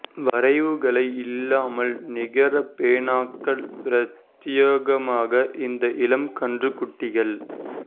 வரைவுகளை இல்லாமல் நிகர பேனாக்கள் பிரத்தியேகமாக இந்த இனம் கன்று குட்டிகள்